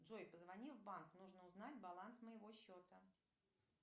джой позвони в банк нужно узнать баланс моего счета